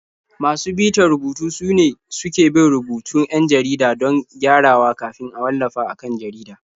Masu bitar rubutu sune suke bin rubutun 'yan jarida don gyarawa kafin a wallafa a kan jarida.